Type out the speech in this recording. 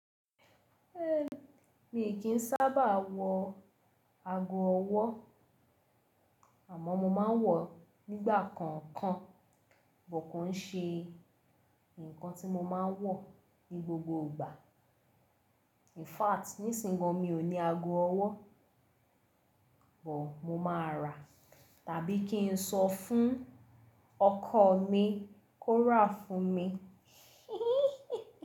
É mi kì í sábàà wọ ago ọwọ́ àmọ́ mo ma ń wọ̀ nígbà kọ̀ọ̀kan, buh kọ́ n ṣe ǹkan tí mo ma ń wọ̀ ní gbogbo ìgbà. In fact, nísìyin gan mi ò ní ago ọwọ́, buh mo máa rà tàbí kí n sọ fún ọkọ̀ mi kó rà fún mi.